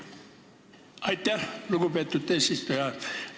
Aitäh, lugupeetud eesistuja!